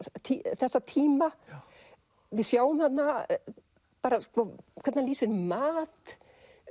þessa tíma við sjáum þarna bara hvernig hann lýsir mat